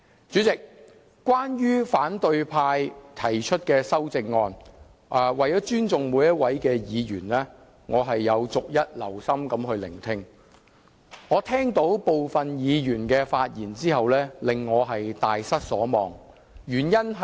主席，關於反對派議員提出的修訂建議，為了尊重每位議員，我有逐一留心聆聽，但部分議員的發言卻令我大失所望。